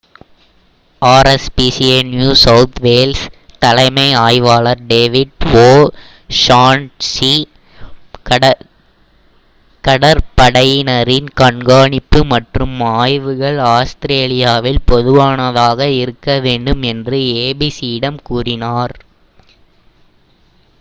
rspca New South Wales தலைமை ஆய்வாளர் David O'Shaughnessy கடற்படையினரின் கண்காணிப்பு மற்றும் ஆய்வுகள் ஆஸ்திரேலியாவில் பொதுவானதாக இருக்க வேண்டும் என்று abc யிடம் கூறினார்